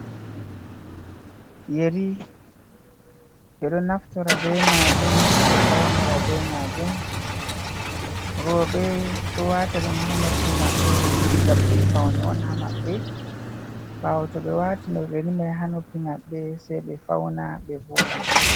Yeri ɓe ɗo naftora be majum ɓe faunora be majum, roɓe ɗo wata ɗum hanoppi maɓɓe gam ɗum paune on ha maɓɓe, ɓawo to ɓe wati yerimai hanoppi maɓɓe sai ɓe fauna ɓe voɗa.